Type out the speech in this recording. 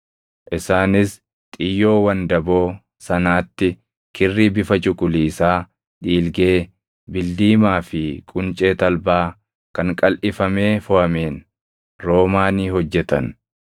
Isaanis xiyyoo wandaboo sanaatti kirrii bifa cuquliisaa, dhiilgee, bildiimaa fi quncee talbaa kan qalʼifamee foʼameen roomaanii hojjetan.